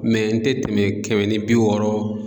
n tɛ tɛmɛ kɛmɛ ni bi wɔɔrɔ